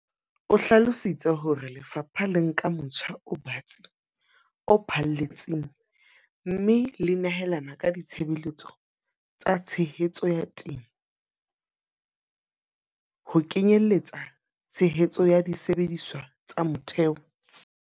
O hlalositse hore le fapha le nka motjha o batsi o phahlalletseng mme le nehelana ka ditshebeletso tsa tshehetso ya temo, ho kenye lletsa tshehetso ya disebediswa tsa motheo.